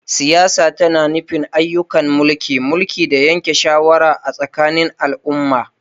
Siyasa tana nufin ayyukan mulki, mulki, da yanke shawara a tsakanin al'umma.